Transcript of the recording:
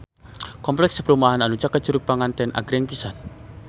Kompleks perumahan anu caket Curug Panganten agreng pisan